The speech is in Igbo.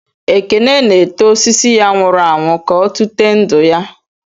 Ekene na-eto osisi ya nwụrụ anwụ, ka ọ tụte ndụ ya.